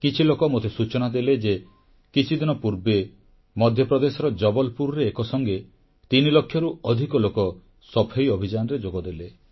କିଛି ଲୋକ ମୋତେ ସୂଚନା ଦେଲେ ଯେ କିଛିଦିନ ପୂର୍ବେ ମଧ୍ୟପ୍ରଦେଶର ଜବଲପୁରରେ ଏକ ସଙ୍ଗେ ତିନି ଲକ୍ଷରୁ ଅଧିକ ଲୋକ ସଫେଇ ଅଭିଯାନରେ ଯୋଗଦେଲେ